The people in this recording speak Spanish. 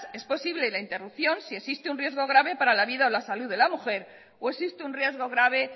es posible la interrupción si existe un riesgo grave para la vida o la salud de la mujer o existe un riesgo grave